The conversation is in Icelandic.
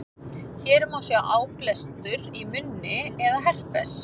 hér má sjá áblástur í munni eða herpes